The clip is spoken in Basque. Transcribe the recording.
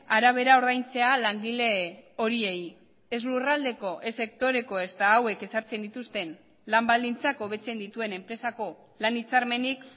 arabera ordaintzea langile horiei ez lurraldeko ez sektoreko ezta hauek ezartzen dituzten lan baldintzak hobetzen dituen enpresako lan hitzarmenik